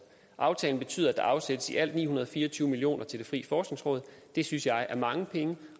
aftalen betyder at der afsættes i alt ni hundrede og fire og tyve million kroner til det frie forskningsråd det synes jeg er mange penge